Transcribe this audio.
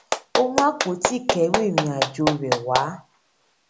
ó mú apòtí ìkẹrù ìrìnàjò rè wá